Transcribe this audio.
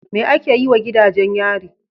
Me ake yi wa gidajen yari?